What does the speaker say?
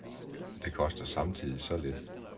Det koster samtidig så lidt.